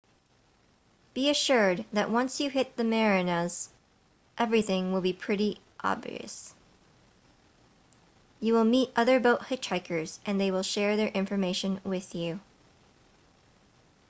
be assured that once you hit the marinas everything will be pretty obvious you will meet other boat hitchhikers and they will share their information with you